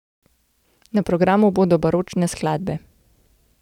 Na programu bodo baročne skladbe.